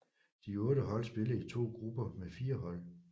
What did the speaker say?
De otte hold spillede i to grupper med fire hold